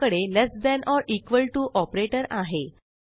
आपल्याकडे less than or equal to operator आहे